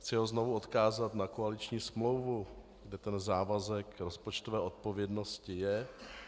Chci ho znovu odkázat na koaliční smlouvu, kde ten závazek rozpočtové odpovědnosti je.